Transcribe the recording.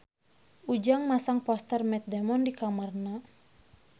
Ujang masang poster Matt Damon di kamarna